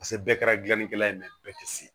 Paseke bɛɛ kɛra gilannikɛla ye bɛɛ tɛ se